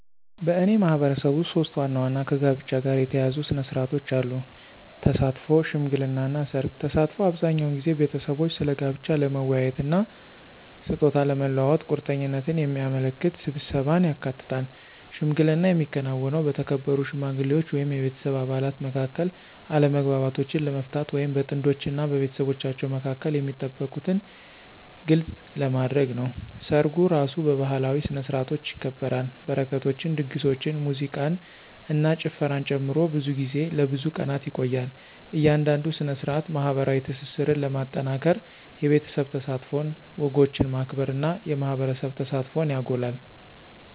በእኔ ማህበረሰብ ውስጥ ሶስት ዋና ዋና ከጋብቻ ጋር የተያያዙ ሥነ ሥርዓቶች አሉ - ተሳትፎ፣ ሽምግልና እና ሠርግ። ተሳትፎ አብዛኛውን ጊዜ ቤተሰቦች ስለ ጋብቻ ለመወያየት እና ስጦታ ለመለዋወጥ ቁርጠኝነትን የሚያመለክት ስብሰባን ያካትታል። ሽምግልና የሚከናወነው በተከበሩ ሽማግሌዎች ወይም የቤተሰብ አባላት መካከል አለመግባባቶችን ለመፍታት ወይም በጥንዶች እና በቤተሰቦቻቸው መካከል የሚጠበቁትን ግልጽ ለማድረግ ነው። ሰርጉ እራሱ በባህላዊ ስነ-ስርዓቶች ይከበራል, በረከቶችን, ድግሶችን, ሙዚቃን እና ጭፈራን ጨምሮ, ብዙ ጊዜ ለብዙ ቀናት ይቆያል. እያንዳንዱ ሥነ ሥርዓት ማኅበራዊ ትስስርን ለማጠናከር የቤተሰብ ተሳትፎን፣ ወጎችን ማክበር እና የማህበረሰብ ተሳትፎን ያጎላል።